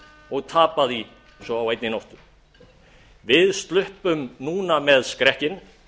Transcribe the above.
og tapa því svo á einni nóttu við sluppum núna með skrekkinn